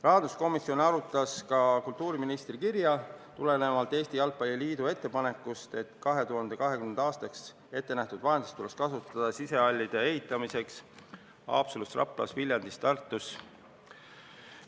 Rahanduskomisjon arutas ka kultuuriministri kirja, tulenevalt Eesti Jalgpalli Liidu ettepanekust, et 2020. aastaks ettenähtud vahendeid tuleks kasutada sisehallide ehitamiseks Haapsalus, Raplas, Viljandis ja Tartus.